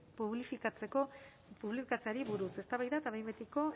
publifikatzeari buruz eztabaida eta behin betiko